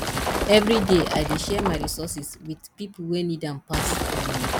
every day i dey share my resources with people wey need am pass um